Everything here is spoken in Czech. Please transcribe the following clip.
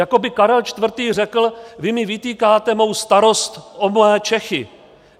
Jako by Karel IV. řekl: vy mi vytýkáte mou starost o mé Čechy.